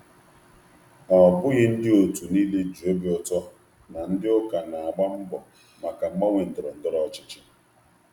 Ọ bụghị onye ọ bụla nwere ahụ iru nwere ahụ iru ala na ndị ndú okpukperechi na-akwado mgbanwe ndọrọ ndọrọ ọchịchị.